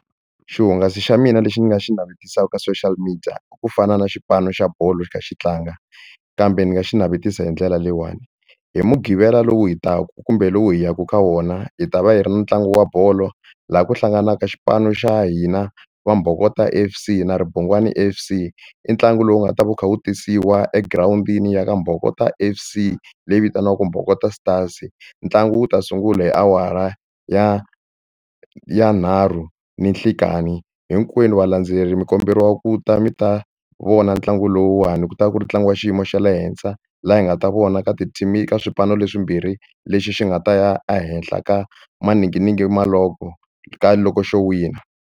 Xihungasi xa mina lexi ni nga xi navetisaka ka social media ku fana na xipano xa bolo xi kha xi tlanga kambe ni nga xi navetisa hi ndlela leyiwani hi mudqivela lowu hi taka kumbe lowu hi yaku ka wona hi ta va hi ri na ntlangu wa bolo laha ku hlanganaka xipano xa hina Vambokota F_C na Ribungwani F_C i ntlangu lowu nga ta va wu kha wu tisiwa egirawundini ya ka Mbabokota F_C leyi vitaniwaka Mbokota Stars stars ntlangu wu ta sungula hi awara ya ya nharhu ninhlikani hinkwenu valandzeleri mi komberiwa ku ta mi ta vona ntlangu lowuwani ku ta va ku ri tlangiwa xiyimo xa le henhla laha hi nga ta vona ka ti-team-i ka swipanu leswimbirhi lexi xi nga ta ya ehenhla ka maninginingini ma log-o ka loko xo wina.